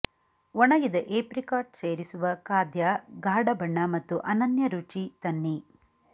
ಒಣಗಿದ ಏಪ್ರಿಕಾಟ್ ಸೇರಿಸುವ ಖಾದ್ಯ ಗಾಢ ಬಣ್ಣ ಮತ್ತು ಅನನ್ಯ ರುಚಿ ತನ್ನಿ